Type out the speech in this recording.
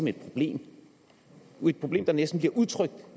et problem et problem der næsten bliver udtrykt